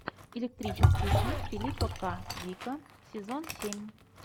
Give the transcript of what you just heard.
электрические сны филипа к дика сезон семь